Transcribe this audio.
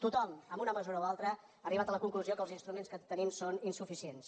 tothom en una mesura o altra ha arribat a la conclusió que els instruments que tenim són insuficients